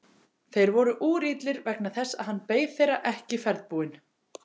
Þeir voru úrillir vegna þess að hann beið þeirra ekki ferðbúinn.